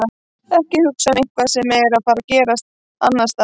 Ekki að hugsa um eitthvað sem er að gerast annars staðar.